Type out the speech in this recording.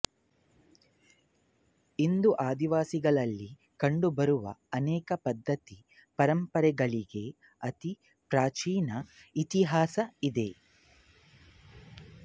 ಇಂದು ಆದಿವಾಸಿಗಳಲ್ಲಿ ಕಂಡುಬರುವ ಅನೇಕ ಪದ್ಧತಿ ಪರಂಪರೆಗಳಿಗೆ ಅತಿ ಪ್ರಾಚೀನ ಇತಿಹಾಸ ಇದೆ